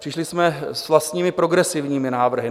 Přišli jsme s vlastními progresivními návrhy.